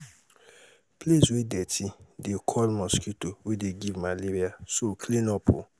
place wey dirty dey call mosquito wey dey give malaria so clean up oo